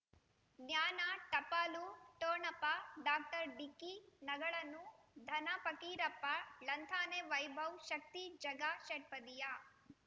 ಜ್ಞಾನ ಟಪಾಲು ಠೊಣಪ ಡಾಕ್ಟರ್ ಢಿಕ್ಕಿ ಣಗಳನು ಧನ ಪಕೀರಪ್ಪ ಳಂತಾನೆ ವೈಭವ್ ಶಕ್ತಿ ಝಗಾ ಷಟ್ಪದಿಯ